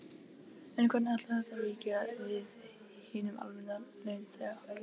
En hvernig ætlar þetta víki við hinum almenna launþega?